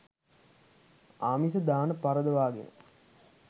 ආමිස දාන පරදවාගෙන